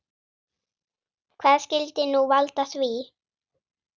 Hvað skyldi nú valda því?